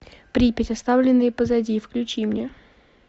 припять оставленные позади включи мне